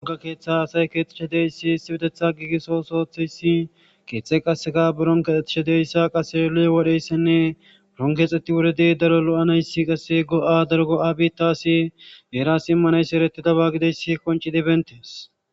Hagga keeththa asay keexishe de7iyayssi issippetetha giigiso ooso ootiyayssi, keeththay qasseka biron keexxishe diyayssa qasse yohone woriyayssinne biron keexeti woridi daro lo7anayssa qasse go7a daro go7a biitaasi heerasi immanayssi eretidaba gidiyayssi qonccidi bentees.